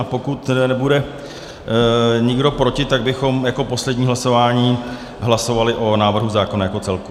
A pokud nebude nikdo proti, tak bychom jako poslední hlasování hlasovali o návrhu zákona jako celku.